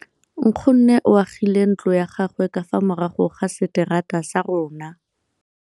Nkgonne o agile ntlo ya gagwe ka fa morago ga seterata sa rona.